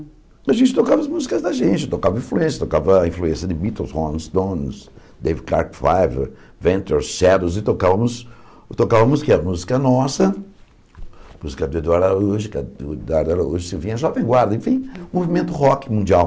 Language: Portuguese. A gente tocava as músicas da gente, tocava influência, tocava a influência de Beatles, Rolling Stones, Dave Clark, Fiverr, Ventures, Shadows, e tocavamos e tocavamos música, música nossa, música do Eduardo Araújo, que o Eduardo Araújo se vinha jovem guarda, enfim, movimento rock mundial.